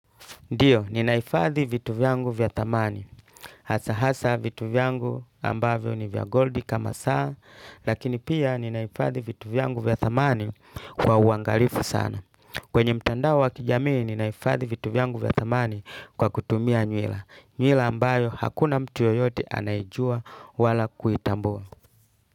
Ndiyo, ninahifadhi vitu vyangu vya thamani. Hasa hasa vitu vyangu ambavyo ni vya goldi kama saa, lakini pia ninahifadhi vitu vyangu vya thamani kwa uangalifu sana. Kwenye mtandao wa kijamii ninahifadhi vitu vyangu vya thamani kwa kutumia nywila. Nywila ambayo hakuna mtu yeyote anayejua wala kuitambua.